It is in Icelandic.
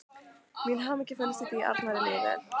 Mín hamingja felst í því að Arnari líði vel.